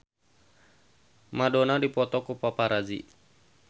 Madonna dipoto ku paparazi